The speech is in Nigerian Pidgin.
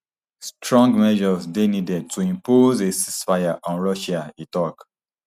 strong measures dey needed to impose a ceasefire on russia e tok